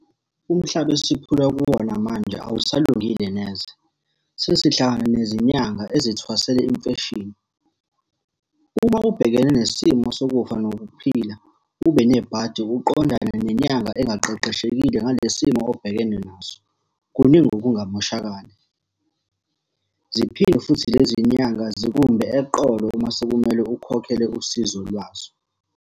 Umhlaba esiphila kuwona manje awusalungile neze. Sesihlala nezinyanga ezithwasela imfeshini. Uma ubhekene nesimo sokufa nokuphila, ube nebhadi uqondane nenyanga engaqeqeshekile ngale simo obhekene naso, kuningi okungamoshakala. Ziphinde futhi lezi nyanga zikumbe eqolo uma sekumele ukhokhele usizo lwazo.